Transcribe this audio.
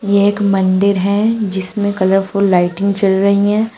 एक मंदिर है जिसमें कलरफुल लाइटिंग चल रही है।